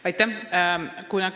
Aitäh!